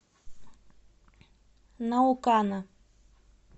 наукана